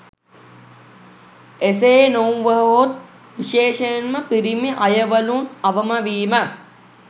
එසේ නොවුවහොත් විශේෂයෙන්ම පිරිමි අයවලුන් අවම වීම